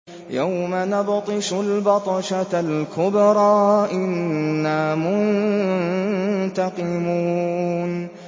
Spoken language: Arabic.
يَوْمَ نَبْطِشُ الْبَطْشَةَ الْكُبْرَىٰ إِنَّا مُنتَقِمُونَ